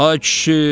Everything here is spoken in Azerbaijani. Ay kişi!